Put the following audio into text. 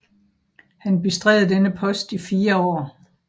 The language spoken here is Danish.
Han bestred denne post i fire år